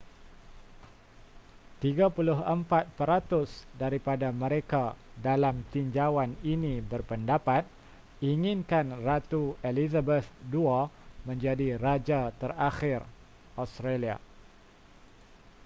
34 peratus daripada mereka dalam tinjauan ini berpendapat inginkan ratu elizabeth ii menjadi raja terakhir australia